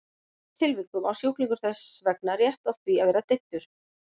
Í þeim tilvikum á sjúklingur þess vegna rétt á því að vera deyddur.